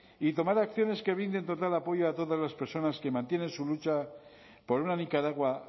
y tomar acciones que brinden total apoyo a todas las personas que mantienen su lucha por una nicaragua